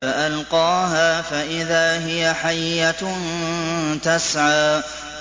فَأَلْقَاهَا فَإِذَا هِيَ حَيَّةٌ تَسْعَىٰ